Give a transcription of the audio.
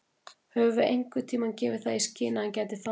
Höfum við einhverntímann gefið það í skyn að hann gæti farið?